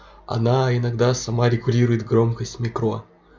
оно иногда сама регулирует громкость микро